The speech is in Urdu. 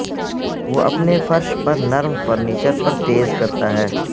وہ اپنے فرش پر نرم فرنیچر پر تیز کرتا ہے